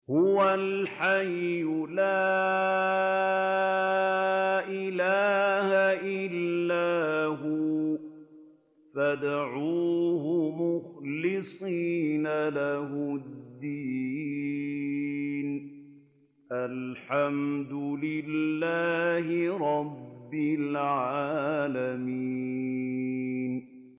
هُوَ الْحَيُّ لَا إِلَٰهَ إِلَّا هُوَ فَادْعُوهُ مُخْلِصِينَ لَهُ الدِّينَ ۗ الْحَمْدُ لِلَّهِ رَبِّ الْعَالَمِينَ